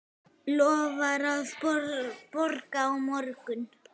Lofar að borga á morgun.